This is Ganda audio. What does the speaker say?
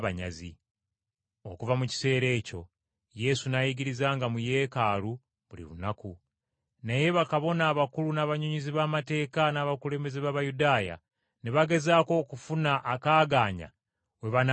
Okuva mu kiseera ekyo Yesu n’ayigirizanga mu Yeekaalu buli lunaku. Naye bakabona abakulu n’abannyonnyozi b’amateeka, n’abakulembeze b’Abayudaaya ne bagezaako okufuna akaagaanya we banaamuttira.